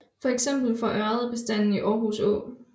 Feks for ørred bestanden i Aarhus Å